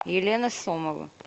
елена сомова